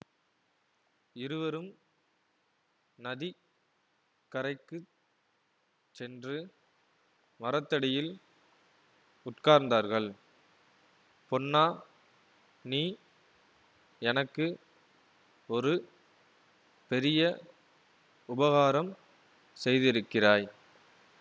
இருவரும் நதி கரைக்குச் சென்று மரத்தடியில் உட்கார்ந்தார்கள் பொன்னா நீ எனக்கு ஒரு பெரிய உபகாரம் செய்திருக்கிறாய்